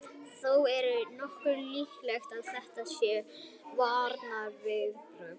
Þó er nokkuð líklegt að þetta séu varnarviðbrögð.